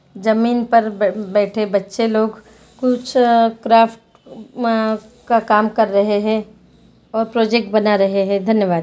जमीन पर बे बेठे बच्चे लोग कुछ अ क्राफ्ट म अ का काम कर रहे है और प्रोजेक्ट बना रहे है धन्यवाद।